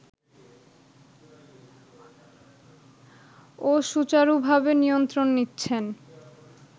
ও সুচারুভাবে নিয়ন্ত্রণ নিচ্ছেন